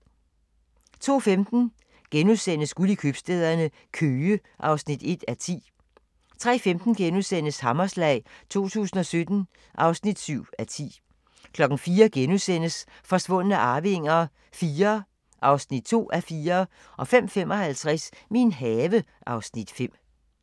02:15: Guld i købstæderne – Køge (1:10)* 03:15: Hammerslag 2017 (7:10)* 04:00: Forsvundne arvinger IV (2:4)* 05:55: Min have (Afs. 5)